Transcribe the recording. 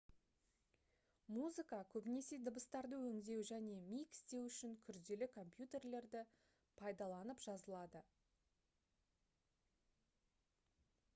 музыка көбінесе дыбыстарды өңдеу және микстеу үшін күрделі компьютерлерді пайдаланып жазылады